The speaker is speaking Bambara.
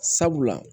Sabula